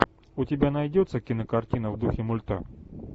у тебя найдется кинокартина в духе мульта